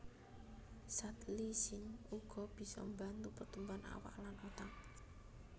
Zat lysine uga bisa mbantu pertumbuhan awak lan otak